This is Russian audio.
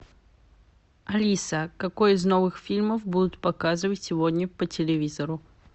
алиса какой из новых фильмов будут показывать сегодня по телевизору